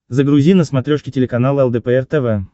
загрузи на смотрешке телеканал лдпр тв